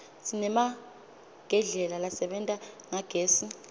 sinemagedlela lasebenta ngagezi